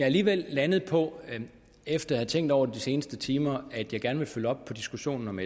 alligevel landet på efter at have tænkt over det de seneste timer at jeg gerne vil følge op på diskussionen om